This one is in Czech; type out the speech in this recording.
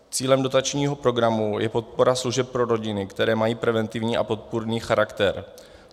Cílem dotačního programu je podpora služeb pro rodiny, které mají preventivní a podpůrný charakter.